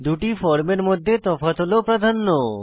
দুই ফর্মের মধ্যে তফাৎ হল প্রাধান্য